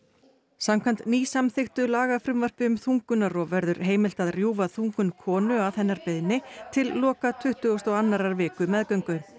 samkvæmt nýsamþykktu lagafrumvarpi um þungunarrof verður heimilt að rjúfa þungun konu að hennar beiðni til loka tuttugustu og annarrar viku meðgöngu